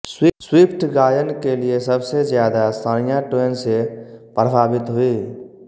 Swift गायन के लिए सबसे ज्यादा शानिया ट्वेन से प्रभावित हुई